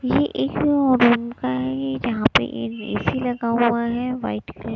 ये एक जहां पे एक ए_सी लगा हुआ है व्हाइट क--